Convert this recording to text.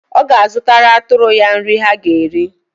Ọ ga-azụtara atụrụ ya nrị ha ga-eri.